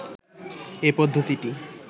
এ পদ্ধতিটি